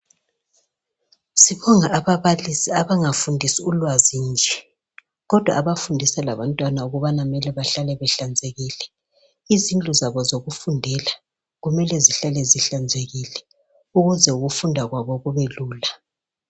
Sibonga ababalisi abangafundisi ulwazi nje kodwa abafundisa labantwana ukubana mele bahlale behlanzekile izindlu zabo zokufundela kumele zihlale zihlanzekile ukuze ukufunda kwabo kubelula.